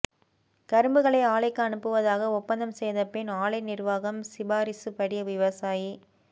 கரும்புகளை ஆலைக்கு அனுப்புவதாக ஒப்பந்தம் செய்த பின் ஆலை நிர்வாகம் சிபாரிசுபடி விவசாயி